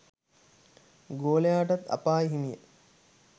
ගෝලයාටත් අපාය හිමිය